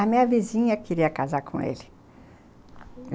A minha vizinha queria casar com ele.